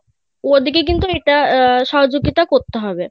ওনাদের কে কিন্তু এটা সহযোগিতা করতে হবে